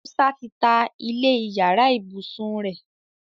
Musa tí tá ilé iyàrá ibusùn rẹ.